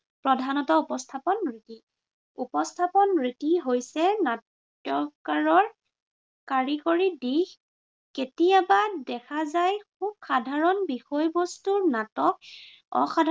প্ৰধানতা উপস্থাপন ৰীতি- উপস্থাপন ৰীতি হৈছে নাট্য়কাৰৰ কাৰিকৰী দিশ। কেতিয়াবা দেখা যায় খুব সাধাৰণ বিষয়বস্তুৰ নাটক অসাধাৰণ